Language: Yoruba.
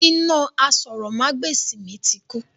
Iná àsòrọmagbesi mi ti kú.